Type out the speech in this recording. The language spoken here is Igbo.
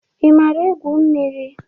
I maara egwu mmiri?